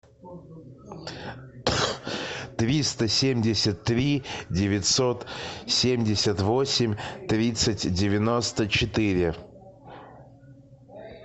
триста семьдесят три девятьсот семьдесят восемь тридцать девяносто четыре